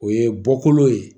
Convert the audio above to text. O ye bɔkolo ye